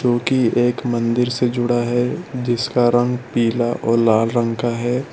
जो की एक मंदिर से जुड़ा है जिसका रंग पीला और लाल रंग का है।